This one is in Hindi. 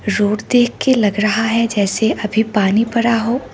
रोड देखके लग रहा है जैसे अभी पानी परा हो।